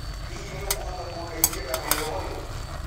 Hihi nĩũkũhota kũndeĩthĩa na wĩra ũyũ?